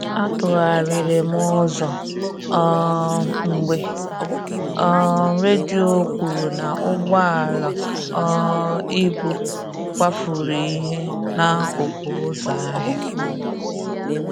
A tụgharịrị m ụzọ um mgbe um redio kwuru na ụgbọala um ibu kwafuru ihe n'akụkụ ụzọ ahịa